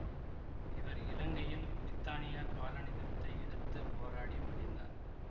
இவர் இலங்கையில் பிரித்தானிய காலனித்துவத்தை எதிர்த்து போராடி மடிந்தார்